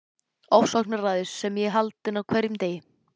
Ofsóknaræðis sem ég er haldinn á hverjum degi.